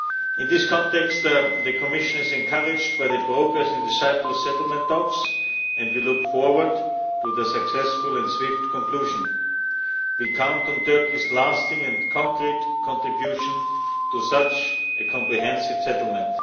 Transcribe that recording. In this context, the Commission is encouraged by the progress in the Cyprus settlement talks and we look forward to their successful and swift conclusion. We count on Turkey's lasting and concrete contribution to such a comprehensive settlement.